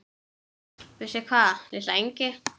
Vissi hvað, litla engi-?